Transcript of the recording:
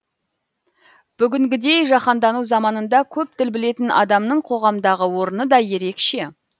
бүгінгідей жаһандану заманында көп тіл білетін адамның қоғамдағы орны да ерекше